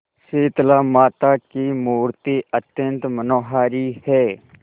शीतलामाता की मूर्ति अत्यंत मनोहारी है